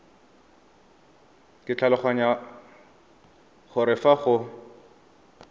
ke tlhaloganya gore fa go